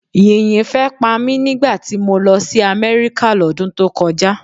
Yìnyín fẹ́ pa mí nígbà tí mo lọ sí Amerika l'ódún tó kọjá.